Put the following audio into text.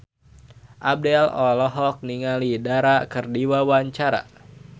Abdel olohok ningali Dara keur diwawancara